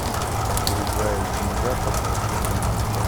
другая земля покажи мне